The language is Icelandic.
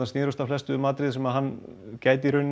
snerust flestar um atriði sem hann gæti